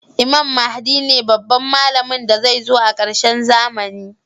Imam mahdi ne babban mallamin da zai zo a karshen zamani